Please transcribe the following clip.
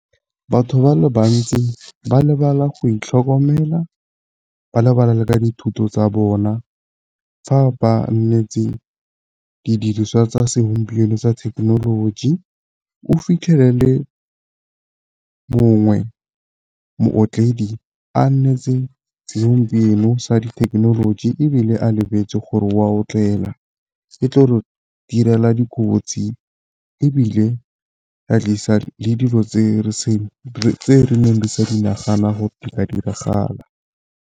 Batho ba le bantsi ba lebala go itlhokomela, ba lebala le ka dithuto tsa bona. Fa ba nnetse didiriswa tsa segompieno tsa thekenoloji. O fitlhele le mongwe mootledi a nnetse se segompieno sa dithekenoloji, ebile a lebetse gore o a otlela. Ke tlo re direla dikotsi, ebile ra tlisa le dilo tse re neng re sa Di nagana gore di ka diragala.